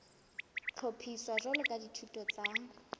hlophiswa jwalo ka dithuto tsa